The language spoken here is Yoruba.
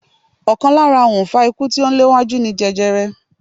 Ọ̀kan lára òǹfà ikú tí ó ń léwájú ni jẹjerẹ.